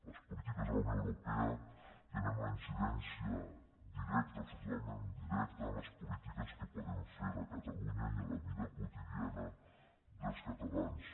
les polítiques de la unió europea tenen una incidència directa absolutament directa en les polítiques que podem fer a catalunya i en la vida quotidiana dels catalans